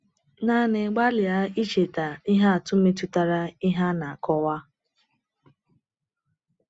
Naanị gbalịa icheta ihe atụ metụtara ihe a na-akọwa.